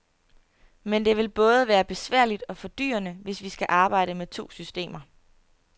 Men det vil både være besværligt og fordyrende, hvis vi skal arbejde med to systemer.